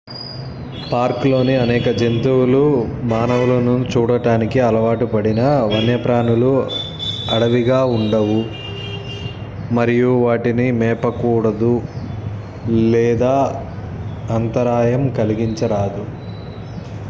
పార్కులోని అనేక జంతువులు మానవులను చూడటానికి అలవాటు పడినా వన్యప్రాణులు అడవిగా ఉండవు మరియు వాటిని మేపకూడదు లేదా అంతరాయం కలిగించరాదు